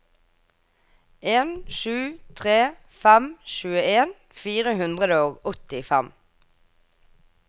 en sju tre fem tjueen fire hundre og åttifem